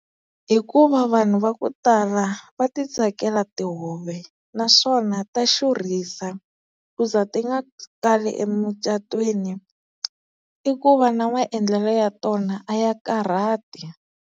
Hikuva vanhu va ku tala va ti tsakela tihove naswona ta xurhisa ku za ti nga sali emucatweni i ku va na maendlelo ya tona a ya karhati.